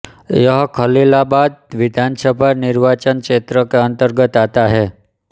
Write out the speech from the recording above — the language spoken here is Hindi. यह खलीलाबाद विधानसभा निर्वाचन क्षेत्र के अंतर्गत आता है